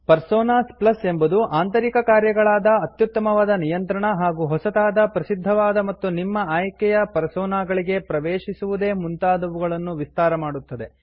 personas plus ಎಂಬುದು ಆಂತರಿಕ ಕಾರ್ಯಗಳಾದ ಅತ್ಯುತ್ತಮವಾದ ನಿಯಂತ್ರಣ ಹಾಗೂ ಹೊಸತಾದ ಪ್ರಸಿದ್ಧವಾದ ಮತ್ತು ನಿಮ್ಮ ಆಯ್ಕೆಯ ಪರ್ಸೋನಾಗಳಿಗೆ ಪ್ರವೇಶಿಸುವುದೇ ಮುಂತಾದವುಗಳನ್ನು ವಿಸ್ತಾರಮಾಡುತ್ತದೆ